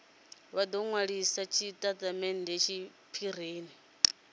vha do nwalisa tshitatamennde tshiphirini